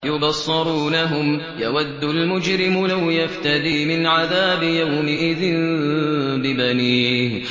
يُبَصَّرُونَهُمْ ۚ يَوَدُّ الْمُجْرِمُ لَوْ يَفْتَدِي مِنْ عَذَابِ يَوْمِئِذٍ بِبَنِيهِ